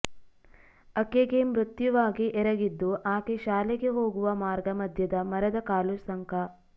ಅಕೆಗೆ ಮೃತ್ಯುವಾಗಿ ಎರಗಿದ್ದು ಆಕೆ ಶಾಲೆಗೆ ಹೋಗುವ ಮಾರ್ಗ ಮಧ್ಯದ ಮರದ ಕಾಲುಸಂಕ